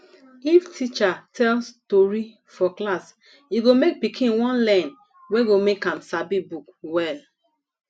if teacher tell stori for class e go make pikin wan learn wey go make am sabi book well